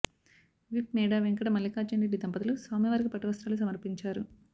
whip మే డా వెంకట మల్లికార్జునరెడ్డి దంపతులు స్వామివారికి పట్టువస్త్రాలు సమర్పించారు